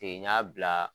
Ten n y'a bila